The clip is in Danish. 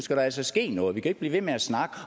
der altså ske noget vi kan ikke blive ved med at snakke